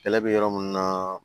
Kɛlɛ bɛ yɔrɔ minnu na